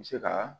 N bɛ se ka